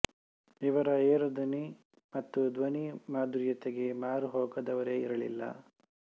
ಇವರ ಏರುದನಿ ಮತ್ತು ಧ್ವನಿ ಮಾಧುರ್ಯತೆಗೆ ಮಾರು ಹೋಗದವರೇ ಇರಲಿಲ್ಲ